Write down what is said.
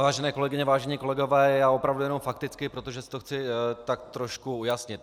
Vážené kolegyně, vážení kolegové, já opravdu jenom fakticky, protože si to chci tak trošku ujasnit.